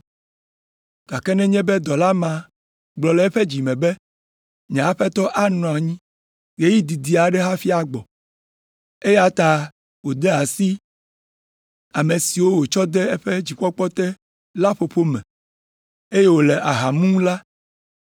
Gake nenye be dɔla ma gblɔ le eƒe dzi me be, ‘Nye aƒetɔ anɔ anyi ɣeyiɣi didi aɖe hafi agbɔ.’ Eya ta wòde asi ame siwo wotsɔ de eƒe dzikpɔkpɔ te la ƒoƒo me, eye wòle aha mum la,